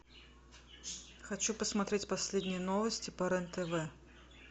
хочу посмотреть последние новости по рен тв